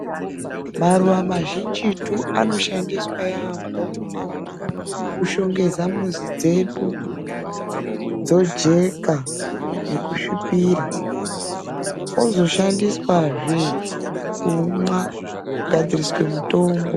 Maruwa mazhinjitu anoshandiswa yaampho kushongedza muzi dzedu dzojeka nekusvipira ozoshandiswazve kumwa kugadzirisa mutombo.